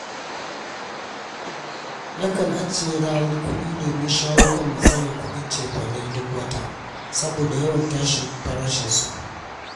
Nakan ajiye rarar kuɗi domin shawo kan matsalar kuɗin cefane duk wata saboda yawan tashin farashinsu.